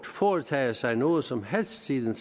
foretaget sig noget som helst siden